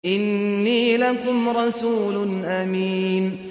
إِنِّي لَكُمْ رَسُولٌ أَمِينٌ